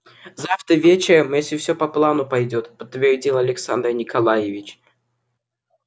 завтра вечером если всё по плану пойдёт подтвердил александр николаевич